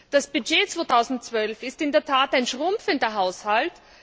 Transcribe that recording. Das Budget 2012 ist in der Tat ein schrumpfender Haushalt.